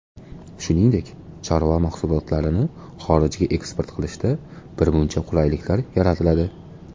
Shuningdek, chorva mahsulotlarini xorijga eksport qilishda birmuncha qulayliklar yaratiladi.